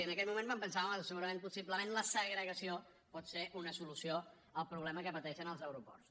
i en aquell moment vam pensar home segurament possiblement la segregació pot ser una solució al problema que pateixen els aeroports